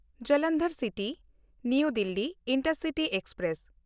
ᱡᱚᱞᱚᱱᱫᱷᱚᱨ ᱥᱤᱴᱤ–ᱱᱟᱣᱟ Delhi intercity express